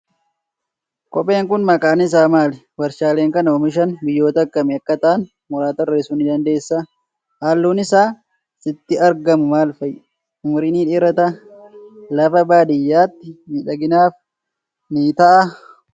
Kopheen kun maqaan isaa maali? Waarshaaleen kana oomishan biyyoota akkamii akka ta'an, muraasa tarreessuu ni dandeessaa? Halluun isaa sitti argamu maal fa'i? Umurii ni dheerataa? Lafa baadiyyaatti miidhaginaaf ni ta'aa?